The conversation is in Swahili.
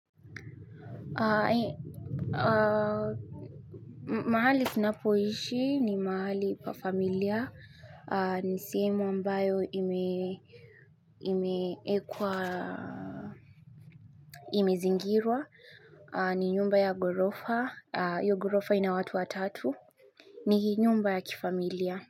Mahali ninapoishi ni mahali pa familia. Ni sehemu ambayo imezingirwa. Ni nyumba ya ghorofa hiyo ghorofa ina watu watatu. Ni nyumba ya kifamilia.